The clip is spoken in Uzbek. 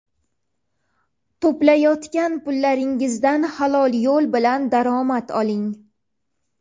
To‘playotgan pullaringizdan halol yo‘l bilan daromad oling.